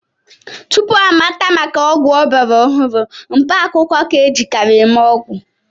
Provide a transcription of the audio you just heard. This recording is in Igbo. Tupu amata maka ọgwụ ọgbara ọhụrụ, mkpaakwụkwọ ka-ejikarị eme ọgwụ